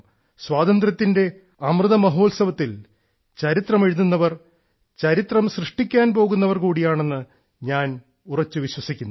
സ്വാതന്ത്ര്യത്തിന്റെ അമൃത മഹോത്സവത്തിൽ ചരിത്രം എഴുതുന്നവർ ചരിത്രം സൃഷ്ടിക്കാൻ പോകുന്നവർ കൂടിയാണെന്ന് ഞാൻ ഉറച്ചു വിശ്വസിക്കുന്നു